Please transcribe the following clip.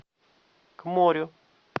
к морю